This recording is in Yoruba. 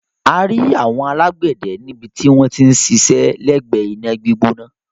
A rí àwọn alágbẹ̀dẹ níbi tí wọ́n ti ń ṣiṣẹ́ lẹ́gbẹ̀ẹ́ iná gbígbóná.